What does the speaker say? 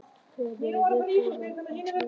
gaurarnir eru nett búnir á því.